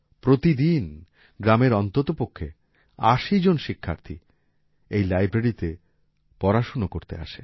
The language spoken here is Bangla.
প্রতিদিন গ্রামের অন্ততপক্ষে ৮০ জন শিক্ষার্থী এই Libraryতে পড়াশোনা করতে আসে